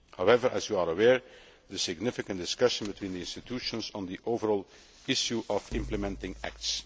However, as you are aware, there is significant discussion between the institutions on the overall issue of implementing acts.